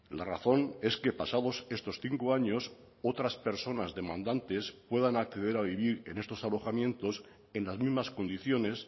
la razón es que pasados estos cinco años otras personas demandantes puedan acceder a vivir en estos alojamientos en las mismas condiciones